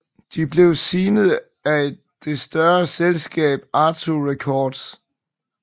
De blev signet af det større selskab Atco Records